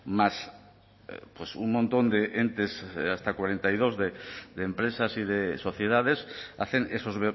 más un montón de entes hasta cuarenta y dos de empresas y de sociedades hacen esos